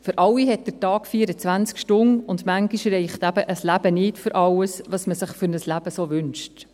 für alle hat der Tag 24 Stunden, und manchmal reicht ein Leben eben nicht für alles, was man sich für ein Leben so wünscht.